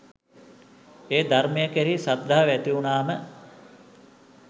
ඒ ධර්මය කෙරෙහි ශ්‍රද්ධාව ඇතිවුණාම